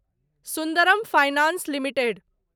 Sundaram finance limited